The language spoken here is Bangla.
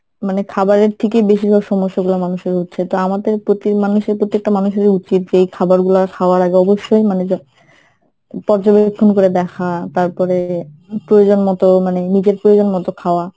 মানে খাবারের থেকেই বেশিরভাগ সমস্যাগুলা মানুষের হচ্ছে তো আমাদের প্রতি মানুষের প্রতি একটা মানুষের উচিত যে এই খবরগুলা খাওয়ার আগে অবস্যই মানে যে পর্যবেক্ষণ করে দেখা তারপরে প্রয়োজন মতো মানে নিজের প্রয়োজন মতো খাওয়া।